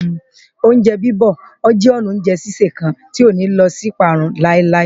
Oúnjẹ bíbọ̀ jẹ́ ọnà oúnjẹ sísè kan tí kò ní lọ sínú ìparun láíláí